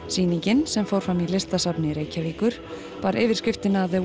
sýningin sem fór fram í Listasafni Reykjavíkur bar yfirskriftina